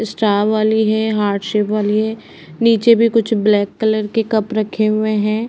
Star वाली है। Heart shape वाली है। नीचे भी कुछ ब्लैक कलर के कप रखे हुए हैं।